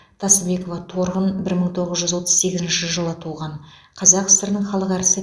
тасыбекова торғын бір мың тоғыз жүз отыз сегізінші жылы туған қазақ сср інің халық әртісі